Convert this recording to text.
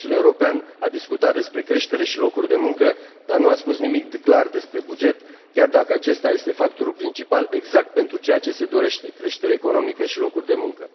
Consiliul European a discutat despre creștere și locuri de muncă, dar nu a spus nimic clar despre buget, chiar dacă acesta este factorul principal, exact pentru ceea ce se dorește creștere economică și locuri de muncă.